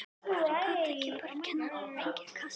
Af hverju gat ekki bara kennarinn fengið kast?